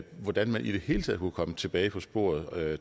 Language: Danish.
hvordan man i det hele taget kunne komme tilbage på sporet